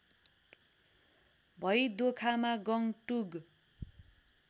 भई दोखामा गङ्टुग